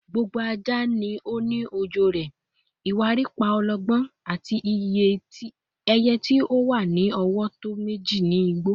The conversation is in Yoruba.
"Gbogbo aja ni o ni ọjọ rẹ," "Iwariiri pa ologbo," ati "Eye ti o wa ni ọwọ tọ meji ni igbo."